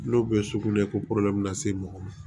N'o bɛ sugunɛko min na se mɔgɔ ma